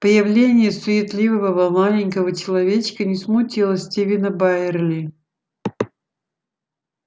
появление суетливого маленького человечка не смутило стивена байерли